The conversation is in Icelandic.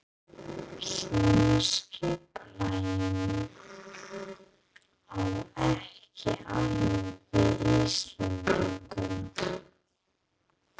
Svona skipulagning á ekki alveg við Íslendinga.